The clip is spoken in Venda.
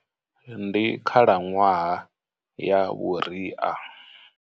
Ndi khalanwaha ya vhuria.